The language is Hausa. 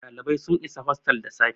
dalibai sun is hotel da safe